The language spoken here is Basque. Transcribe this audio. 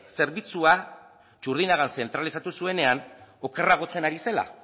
zerbitzua txurdinagan zentralizatu zuenean okerragotzen ari zela